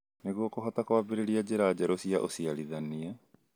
nĩguo kũhota kũambĩrĩria njĩra njerũ cia ũciarithania.